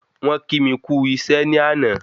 Wọ́n kí mi kù isẹ́ ni àná